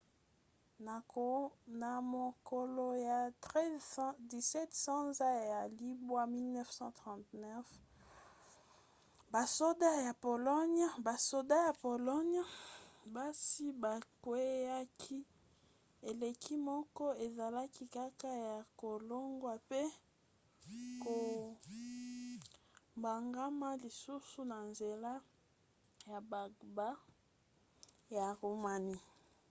na mokolo ya 17 sanza ya libwa 1939 basoda ya pologne basi bakweaki elikia moko ezalaki kaka ya kolongwa pe kobongama lisusu na nzela ya bagbagba ya roumanie